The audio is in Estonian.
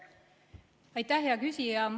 Aitäh, hea küsija!